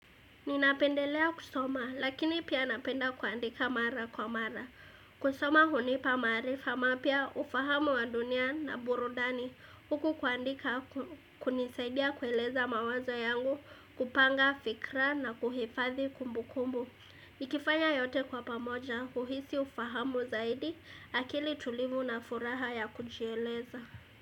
Ninapendelea kusoma lakini pia napenda kuandika mara kwa mara. Kusoma hunipa maarifa mapya ufahamu wa dunia na burudani huku kuandika hunisaidia kueleza mawazo yangu kupanga fikra na kuhifathi kumbukumbu. Nikifanya yote kwa pamoja huhisi ufahamu zaidi akili tulivu na furaha ya kujieleza.